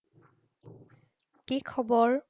কি খবৰ?